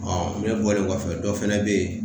ne bɔlen kɔfɛ dɔ fana bɛ yen